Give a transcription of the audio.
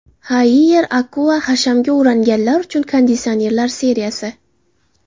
Haier Aqua: hashamga o‘rganganlar uchun konditsionerlar seriyasi.